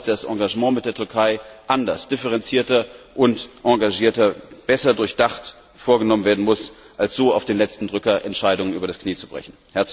Ich glaube, dass das Engagement mit der Türkei anders, differenzierter und engagierter, besser durchdacht vorgenommen werden muss, als so auf den letzten Drücker Entscheidungen übers Knie zu brechen.